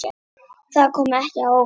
Það kom ekki á óvart.